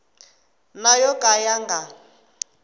na yo ka ya nga